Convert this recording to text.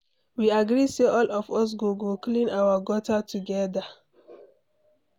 We agree say all of us go go clean our gutter together.